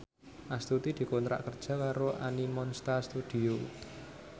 Astuti dikontrak kerja karo Animonsta Studio